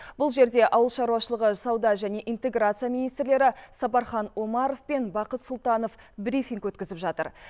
бұл жерде ауыл шаруашылығы сауда және интеграция министрлері сапархан омаров пен бақыт сұлтанов брифинг өткізіп жатыр